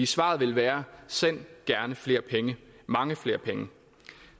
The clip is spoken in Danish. svaret vil være send gerne flere penge mange flere penge